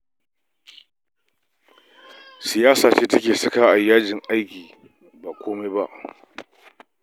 Siyasa ce take sakawa a yi yajin aiki ba komai ba